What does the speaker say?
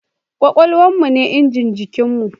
Kwakwalwan mu ne injin jikin mu